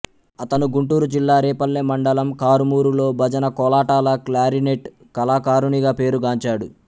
అతను గుంటూరు జిల్లా రేపల్లె మండలం కారుమూరు లో భజన కోలాటాల క్లారినెట్ కళాకారునిగా పేరు గాంచాడు